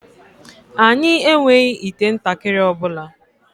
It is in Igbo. Anyị enweghị ite ntakịrị ọ bụla